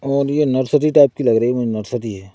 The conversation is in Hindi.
और ये नर्सरी टाइप की लग रही है मुझे नर्सरी है।